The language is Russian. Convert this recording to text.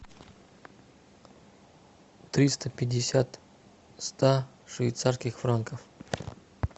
триста пятьдесят ста швейцарских франков